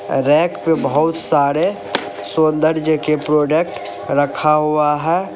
Rack पे बहुत सारे सौंदर्य के प्रोडक्ट रखा हुआ है।